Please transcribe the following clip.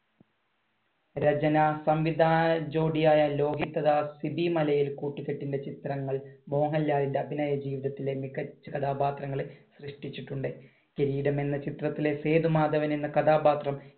രചന സംവിധാന ജോഡിയായ ലോഹിതദാസ് സിബി മലയിൽ കൂട്ടുകെട്ടിന്‍റെ ചിത്രങ്ങൾ മോഹൻലാലിന്‍റെ അഭിനയ ജീവിതത്തിലെ മികച്ച കഥാപാത്രങ്ങളെ സൃഷ്ടിച്ചിട്ടുണ്ട്. കിരീടം എന്ന ചിത്രത്തിലെ സേതുമാധവൻ എന്ന കഥാപാത്രം